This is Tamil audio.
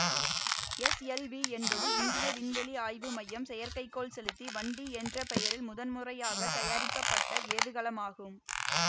எஸ்எல்வி என்பது இந்திய விண்வெளி ஆய்வு மையம் செயற்கைக்கோள் செலுத்தி வண்டி என்ற பெயரில் முதன்முறையாக தயாரிக்கப்பட்ட ஏவுகலமாகும்